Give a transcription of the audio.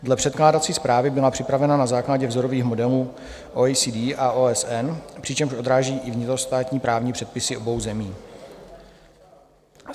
Dle předkládací zprávy byla připravena na základě vzorových modelů OECD a OSN, přičemž odráží i vnitrostátní právní předpisy obou zemí.